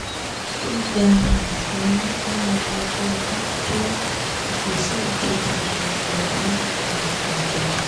gbígba um oyún ní ẹni ogún ọdún jẹ́ ìgbésẹ̀ òjijì enílọ́lá um ajáò